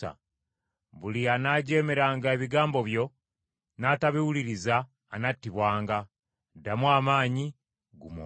Buli anaajeemeranga ebigambo byo n’atabiwuliriza anattibwanga. Ddamu amaanyi, guma omwoyo.”